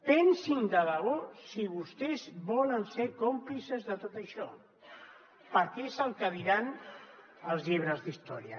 pensin de debò si vostès volen ser còmplices de tot això perquè és el que diran els llibres d’història